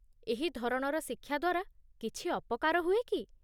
ଏହି ଧରଣର ଶିକ୍ଷା ଦ୍ୱାରା କିଛି ଅପକାର ହୁଏ କି?